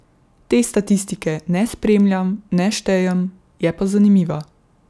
Te statistike ne spremljam, ne štejem, je pa zanimiva.